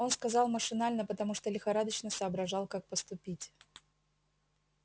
он сказал машинально потому что лихорадочно соображал как поступить